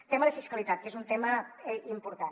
tema de fiscalitat que és un tema important